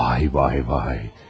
Vay vay vay!